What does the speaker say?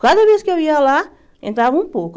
Cada vez que eu ia lá, entrava um pouco.